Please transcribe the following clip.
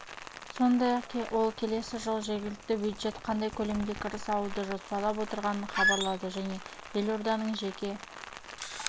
сондай-ақ ол келесі жылы жергілікті бюджет қандай көлемде кіріс алуды жоспарлап отырғанын хабарлады және елорданың жеке